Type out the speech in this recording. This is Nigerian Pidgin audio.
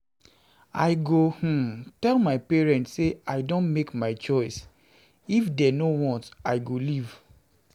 I go um tell my parents say I don make my choice, if dey no want I go leave